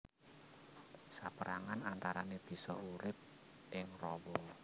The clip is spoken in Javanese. Sapérangan antarané bisa urip ing rawa